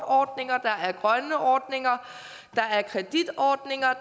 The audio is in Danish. ordninger der er kreditordninger